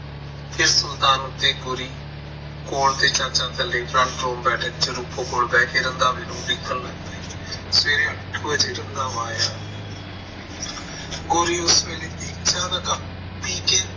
ਫਿਰ ਸੁਲਤਾਨ ਤੇ ਗੋਰੀ ਕੋਲ ਤੇ ਚਾਚੇ front room ਬੈਠਕ ਚ ਰੂਪੋ ਕੋਲ ਬਹਿ ਕੇ ਰੰਧਾਵੇ ਨੂੰ ਉਡੀਕਣ ਲੱਗੇ ਸਵੇਰੇ ਅੱਠ ਕੁ ਵਜੇ ਰੰਧਾਵਾ ਆਇਆ ਗੋਰੀ ਉਸ ਵੇਲੇ ਦੇਖਿਆ ਕਿ ਰੰਧਾਵਾ ਪੀਕੇ